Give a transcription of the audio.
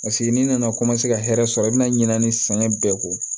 Paseke n'i nana ka hɛrɛ sɔrɔ i bɛna ɲinini sɛgɛn bɛɛ ko